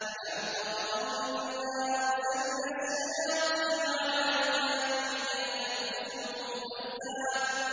أَلَمْ تَرَ أَنَّا أَرْسَلْنَا الشَّيَاطِينَ عَلَى الْكَافِرِينَ تَؤُزُّهُمْ أَزًّا